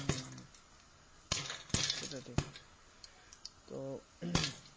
হম হম হম সেটা ঠিক তো